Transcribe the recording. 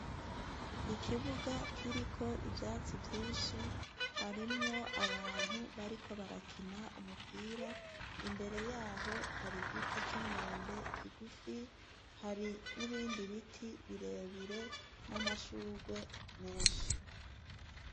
Ikibuga kiriko ivyatsi vyinshi, harimwo abantu bariko barakina umupira, imbere yaho har’ igiti c’umwembe kigufi, hari n’ibindi biti birebire n’amashurwe menshi.